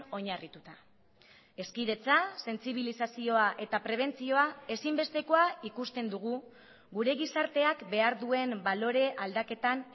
oinarrituta hezkidetza sentsibilizazioa eta prebentzioa ezinbestekoa ikusten dugu gure gizarteak behar duen balore aldaketan